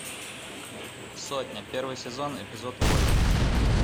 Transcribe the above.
сотня первый сезон эпизод восемь